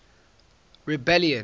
rebellion